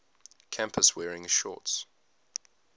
campus wearing shorts